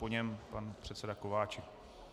Po něm pan předseda Kováčik.